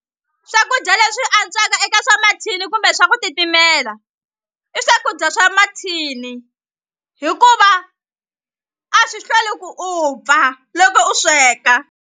Swakudya leswi antswaka eka swa mathini kumbe swa ku titimela i swakudya swa mathini hikuva a swi hlweli ku upfa loko u sweka.